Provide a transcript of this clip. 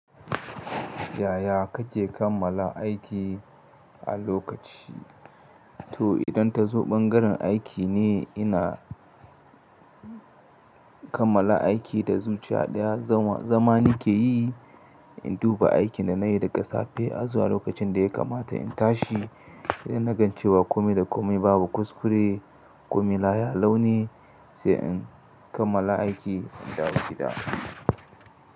Yaya kake kammala aiki a lokaci? To idan ta zo ɓangaren aiki ne ina kammala aiki da zuciya ɗaya. Zanwa, zama nike yi, in duba aikin da na iya yi daga safe har zuwa lokacin da ya kamata in tashi, idan nagancewa kome da kome babu kuskure, kome laya lau ne sai in kammala aiki in dawo gida.